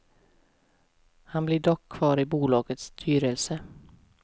Han blir dock kvar i bolagets styrelse.